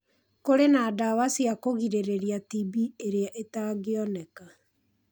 Kũrĩ na ndawa cia kũgirĩrĩria TB ĩrĩa ĩtangĩoneka.